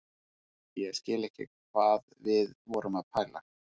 Ég skil ekki hvað við vorum að pæla.